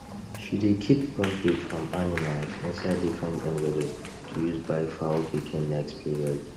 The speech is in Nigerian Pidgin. she dey keep profit from animals inside different envelope to use buy fowl pikin next period